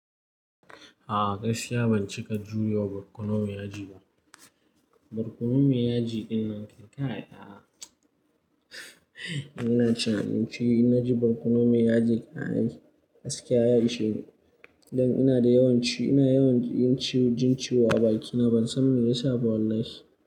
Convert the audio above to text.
A'a gaskiya ban cika jure wa barkonon mai yaji ba. Barkonon mai yaji dinnan kai aa. Ina ci abinci, ina ji barkonon mai yaji kai gaskiya ya isheni Dan ina da yawan jin, ina yawan jin ciwo a bakina ban san me yasa ba wallahi.